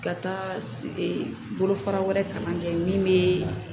Ka taa bolofara wɛrɛ kalan kɛ min bee